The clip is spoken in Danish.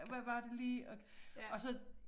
Hvad var det lige og og så